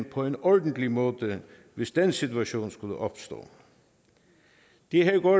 på en ordentlig måde hvis den situation skulle opstå det her går